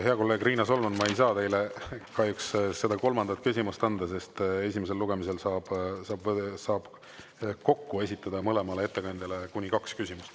Hea kolleeg Riina Solman, ma ei saa teile kahjuks seda kolmandat küsimust anda, sest esimesel lugemisel saab kokku esitada kahele ettekandjale kuni kaks küsimust.